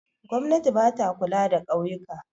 Gwamnati ba ta kula da ƙauyuka.